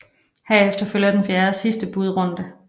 Herefter følger den fjerde og sidste budrunde